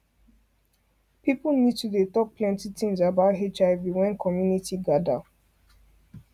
people need to dey talk plenty things about hiv wen community gather